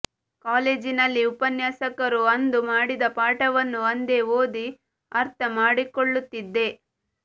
ಕಾಲೇಜಿನಲ್ಲಿ ಉಪನ್ಯಾಸಕರು ಅಂದು ಮಾಡಿದ ಪಾಠವನ್ನು ಅಂದೇ ಓದಿ ಅರ್ಥ ಮಾಡಿಕೊಳ್ಳುತ್ತಿದ್ದೆ